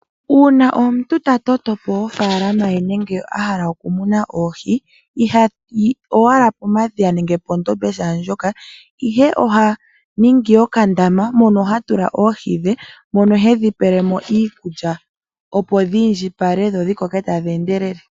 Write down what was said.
Uuna omuntu ta toto po ofaalama ye nenge a hala okumuna oohi ihayi owala pomadhiya nenge pondombe shaa ndjoka, ihe oha ningi okandama mono ha tula oohi dhe mono he dhi pele mo iikulya, opo dhi indjipale dho dhi koke tadhi endelele.